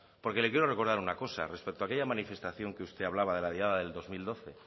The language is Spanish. porque le quiero recordar una cosa respecto a aquella manifestación que usted hablaba de la diada de dos mil doce